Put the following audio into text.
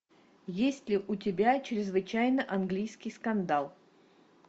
есть ли у тебя чрезвычайно английский скандал